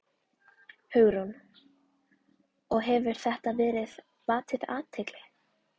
Hugrún: Og hefur þetta vakið athygli?